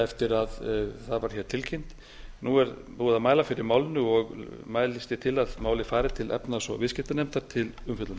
eftir að það var hér tilkynnt nú er búið að mæla fyrir málinu og mælist ég til að málið fari til efnahags og viðskiptanefndar til umfjöllunar